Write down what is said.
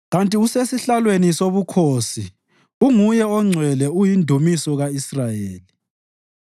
Kanti usesihlalweni sobukhosi uNguye oNgcwele uyindumiso ka-Israyeli.